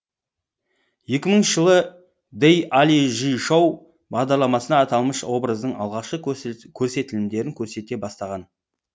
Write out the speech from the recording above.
жылы дэй али жи шоу бағдарламасында аталмыш образдың алғашқы көрсетілімдерін көрсете бастаған